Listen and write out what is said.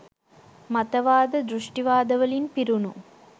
මතවාද, දෘෂ්ටිවාද වලින් පිරුණු